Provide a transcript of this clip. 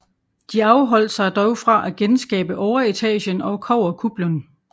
De afholdt sig dog fra at genskabe overetagen og kobberkuplen